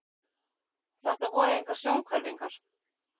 Þetta voru engar sjónhverfingar.